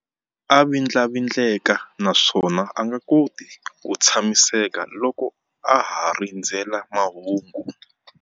A vindlavindleka naswona a nga koti ku tshamiseka loko a ha rindzerile mahungu.